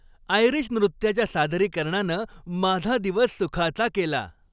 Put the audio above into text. Irish नृत्याच्या सादरीकरणानं माझा दिवस सुखाचा केला.